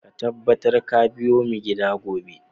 Ka tabbata ka biyo mu gida gobe!